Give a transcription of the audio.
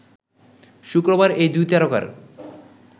শুক্রবার এই দুই তারকার